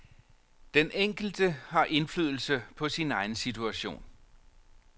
Den enkelte har indflydelse på sin egen situation.